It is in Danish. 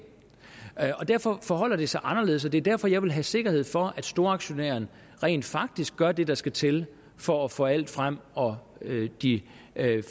derfor forholder det sig anderledes og det er derfor jeg vil have sikkerhed for at storaktionæren rent faktisk gør det der skal til for at få alt frem og at de